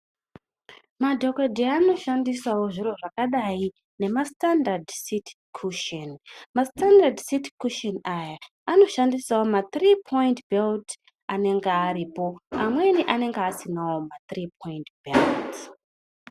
Madhokodheya anoshandisawo zviro zvakadai nemasitandadhi siti kusheni. Masitandadhi siti kusheni aya anoshandisawo ma3 poindi belt anenge aripo amweni anenge asinawo ma3 poindi belt.